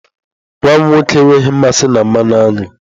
Nwa m nwoke enweghị mmasị na mmanụ aṅụ.